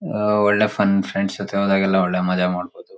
ಅಹ್ಹ್ ಒಳ್ಳೆ fun friends ಜೊತೆ ಹೋದಾಗೆಲ್ಲಾ ಒಳ್ಳೆ ಮಜಾ ಮಾಡಬಹುದು.